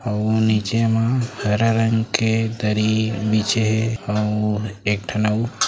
अऊ नीचे म हरा रंग के दरी बिछे हे अऊ एक ठन अऊ--